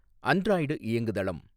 Android இயங்குதளம்